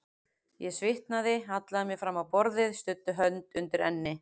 Ég svitnaði, hallaði mér fram á borðið, studdi hönd undir enni.